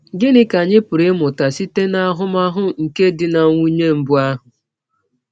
Gịnị ka anyị pụrụ ịmụta site n’ahụmahụ nke di na nwụnye mbụ ahụ?